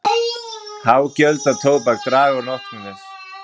Há gjöld á tóbak draga úr notkun þess.